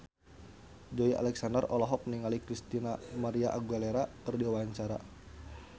Joey Alexander olohok ningali Christina María Aguilera keur diwawancara